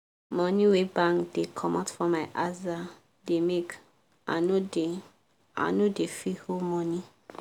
money wey bank dey comot for my aza da make i no da i no da fit hold money